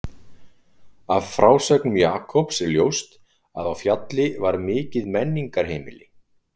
Af frásögnum Jakobs er ljóst að á Fjalli var mikið menningarheimili.